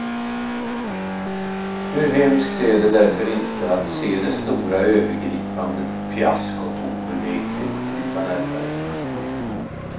Hur hemskt är det därför inte att se det stora övergripande fiaskot obvekligt krypa närmare.